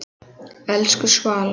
Elsku Svala.